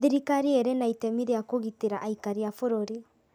Thirikari ĩrĩ na itemi ria kũgitĩra aikari a bũrũri